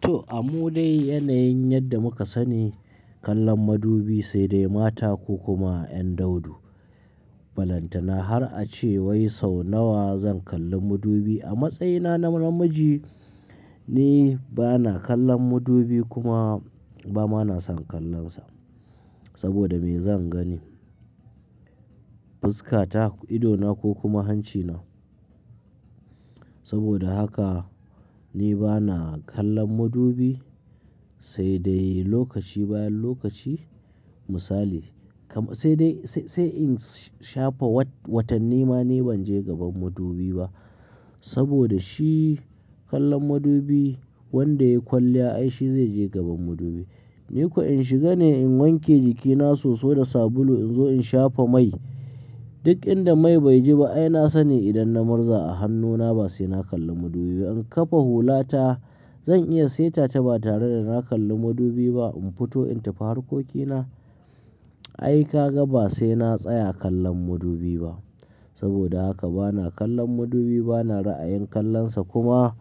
To, amu dai yanayin yadda muka sani kallon madubi sai dai mata ko kuma ‘yan daudu. Balantana har ace wai sau nawa zan kalli madubi a matsayina na namiji ni bana kallon madubi kuma ba ma na son kallonsa. Saboda me zan gani, fuskata, idona ko kuma hancina. Saboda haka ni bana kallon madubi sai dai lokaci bayan lokaci misali, sai dai sai in shafa watanni ma ni ban je gaban madubi ba. Saboda shi kallon madubi wanda ya yi kwalliya ai shi zai je gaban madubi. Ni ko in shiga ne in wanke jikina soso da sabulu in shafa mai. Duk inda mai beji ba ai na sani idan na murza a hannuna ba sai na kalli madubi ba. In kafa hulata zan iya sai tata ba tare da na kalli madubi ba. In fito in tafi harkokina ai ka ga ba sai na tsaya kallon madubi ba. Saboda haka bana kallon madubi bana ra'ayin kallonsa kuma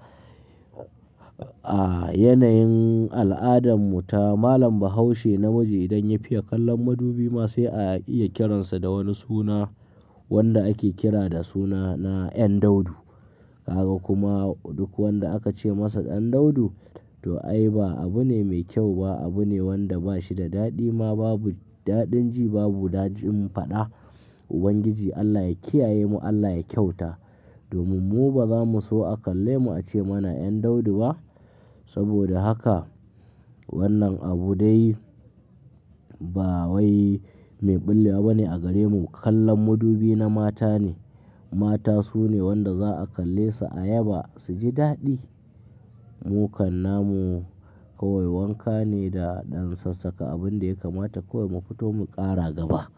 a yanayin al'adan mu ta malam Bahaushe namiji idan ya fiya kallon madubi ma sai a iya kiransa da wani suna wanda ake kira da suna na ‘yan daudu. Ka ga kuma duk wanda aka ce masa ɗan daudu to ai ba abu ne mai kyau ba, abu ne wanda ba shi da daɗi ma babu daɗin ji babu daɗin faɗa. Ubangiji Allah Ya kiyaye mu, Allah Ya kyauta. Domin mu ba za mu so a kalle mu ace mana ‘yan daudu ba. Saboda haka wannan abu dai ba wai mai ɓillewa bane a gare mu. Kallon madubi na mata ne. Mata su ne wanda za a kalle su ayaba su ji daɗi. Mu kan namu kawai wanka ne da ɗan sassaƙa abin da ya kamata kawai mu fito mu ƙara gaba.